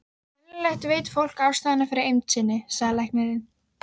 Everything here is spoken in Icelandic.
Venjulega veit fólk ástæðuna fyrir eymd sinni, sagði læknirinn.